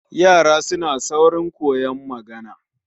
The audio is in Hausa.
Yara suna saurin koyon magana